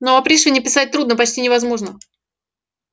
но о пришвине писать трудно почти невозможно